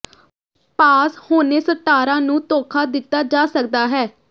ਪਾਸ ਹੋਣੇ ਸਟਾਰਾਂ ਨੂੰ ਧੋਖਾ ਦਿੱਤਾ ਜਾ ਸਕਦਾ ਹੈ